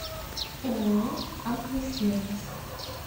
ооо аквасервис